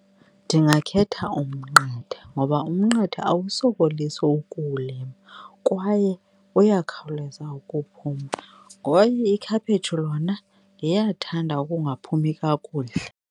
Ndingakhetha umnqathe ngoba umnqathe awusokolisi ukuwulima kwaye uyakhawuleza ukuphuma, kwaye ikhaphesthu lona liyathanda ukungaphumi kakuhle.